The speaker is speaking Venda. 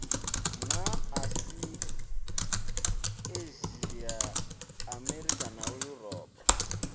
na asia amerika na yuropa